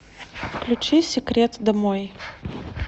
включи секрет домой